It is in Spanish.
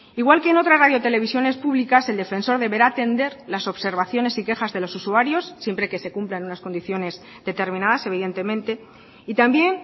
igual que en otras radios televisiones públicas el defensor deberá atender las observaciones y quejas de los usuarios siempre que se cumplan unas condiciones determinadas evidentemente y también